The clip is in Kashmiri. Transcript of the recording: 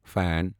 فین